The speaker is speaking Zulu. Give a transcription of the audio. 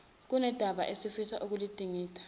kunodaba afisa ukuludingida